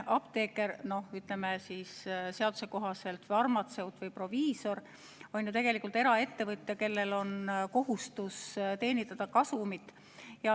Apteeker, seaduse kohaselt farmatseut või proviisor, on ju tegelikult eraettevõtja, kellel on kohustus teenida kasumit.